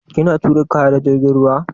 Kina tura kaya ta jirgin ruwa?